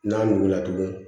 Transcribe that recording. N'a wulila tugun